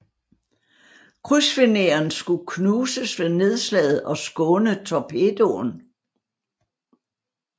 Krydsfineren skulle knuses ved nedslaget og skåne torpedoen